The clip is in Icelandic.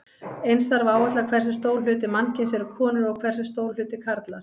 Eins þarf að áætla hversu stór hluti mannkyns eru konur og hversu stór hluti karlar.